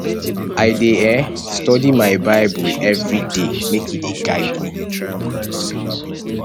i dey um study my bible everyday make e dey guide me